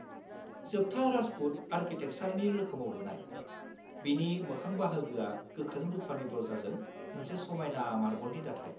जोबथा राजपुत आर्किटेकचारनि रोखोमाव लुनाय, बिनि मोखां बाहागोआ गोख्रों रुफानि दर्जाजों मोनसे समायना मार्बलनि दाथाय।